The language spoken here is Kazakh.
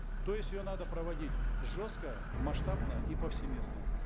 то есть ее надо проводить жестко масштабно и повсеместно